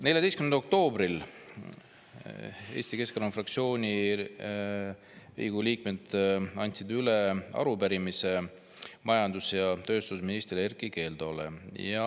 14. oktoobril andsid Riigikogu Eesti Keskerakonna fraktsiooni liikmed üle arupärimise majandus‑ ja tööstusminister Erkki Keldole.